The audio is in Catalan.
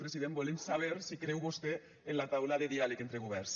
president volem saber si creu vostè en la taula de diàleg entre governs